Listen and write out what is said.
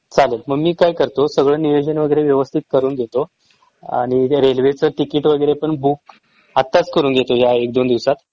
चालेल मग मी काय करतो सगळं नियोजन वगैरे व्यवस्थित करून घेतो आणि हे रेल्वे च तिकीट वगैरे पण बुक आताच करून घेतो ह्या एक दोन दिवसात